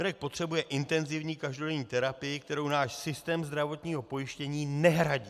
Mirek potřebuje intenzivní každodenní terapii, kterou náš systém zdravotního pojištění nehradí.